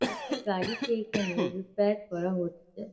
একটা গাড়িকে এখানে রিপেয়ার করা হচ্ছে।